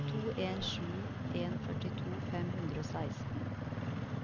to en sju en førtito fem hundre og seksten